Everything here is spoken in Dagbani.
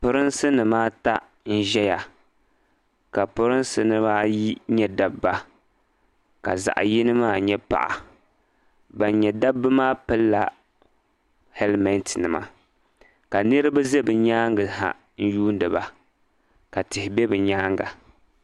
Pirinsi nim ata n ʒeya ka pirinsi nim ayi nyɛ dabba ka zaɣi yini maa nyɛ paɣa ban nyɛ dabba maa pili la hɛlmat nima ka niriba za bɛ nyaaŋa ha yuuni ba ka tihi be bɛ nyaaŋa.